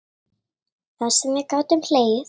Það sem við gátum hlegið.